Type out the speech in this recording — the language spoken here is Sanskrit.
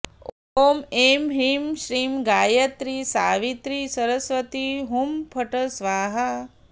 ॐ ऐं ह्रीं श्रीं गायत्रि सावित्रि सरस्वति हुं फट् स्वाहा